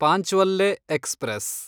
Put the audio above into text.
ಪಾಂಚ್ವಲ್ಲೆ express